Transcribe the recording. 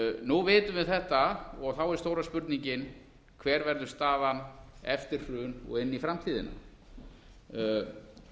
nú vitum við þetta og þá er stóra spurningin hver verður staðan eftir hrun og inn í framtíðina